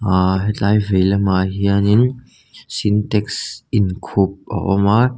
ahh hetlai veilamah hianin sintex in khup a awm a.